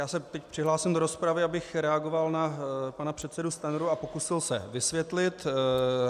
Já se teď přihlásím do rozpravy, abych reagoval na pana předsedu Stanjuru a pokusil se vysvětlit.